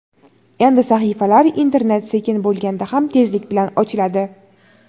endi sahifalar internet sekin bo‘lganda ham tezlik bilan ochiladi.